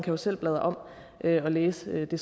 jo selv blade om og læse det